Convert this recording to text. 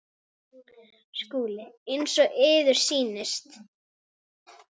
SKÚLI: Eins og yður sýnist.